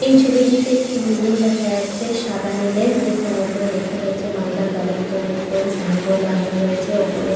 এই ছবিটিতে একটি বিল্ডিং দেখা যাচ্ছে সাদা নিলের যেখানে উপরে লেখা রয়েছে মালদা কালেক্টারেট বলে সাইনবোর্ড লাগানো রয়েছে উপরে।